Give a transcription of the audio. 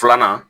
Filanan